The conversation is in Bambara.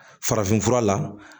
Farafinfura la